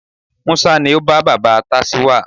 Musa ni o ba baba tacewa